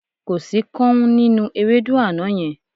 Kò sí káún nínú ewédú àná yẹn.